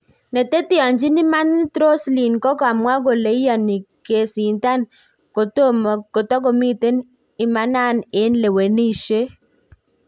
Neteteachi imanat Rosielin kokamwa koleiyani kesitan kotkomiten imanan eng lewenishet